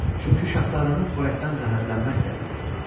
Çünki şahzadənin xörəkdən zəhərlənmək təhlükəsi vardı.